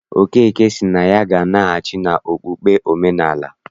Okeke sị na ya ga-anaghachi n'okpukpe omenaala.